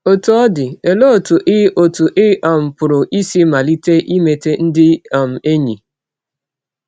Ọtụ ọ dị, ọlee ọtụ ị ọtụ ị um pụrụ isi malite imeta ndị um enyi?